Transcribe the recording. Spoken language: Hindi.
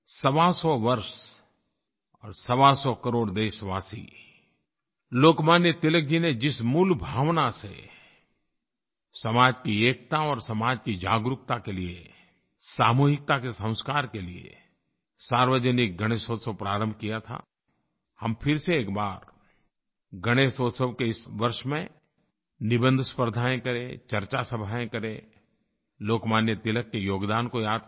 सवासौ वर्ष और सवासौ करोड़ देशवासी लोकमान्य तिलक जी ने जिस मूल भावना से समाज की एकता और समाज की जागरूकता के लिये सामूहिकता के संस्कार के लिये सार्वजनिक गणेशोत्सव प्रारंभ किया था हम फिर से एक बार गणेशोत्सव के इस वर्ष में निबंध स्पर्द्धायें करें चर्चा सभायें करें लोकमान्य तिलक के योगदान को याद करें